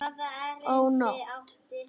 Ó nótt!